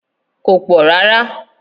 It's not that much